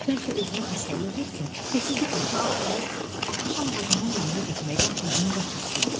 Bəlkə özünü xəstəliyə vursun, desin ki, başı ağrıyır, altı şam ağacının yanına getməkdən boyun qaçırsın.